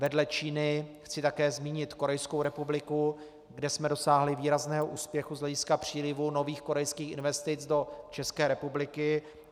Vedle Číny chci také zmínit Korejskou republiku, kde jsme dosáhli výrazného úspěchu z hlediska přílivu nových korejských investic do České republiky.